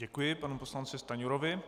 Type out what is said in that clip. Děkuji panu poslanci Stanjurovi.